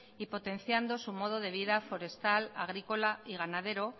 y potenciando su modo de vida forestal agrícola y ganadera